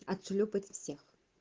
отшлёпать всех